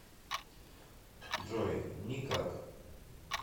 джой никак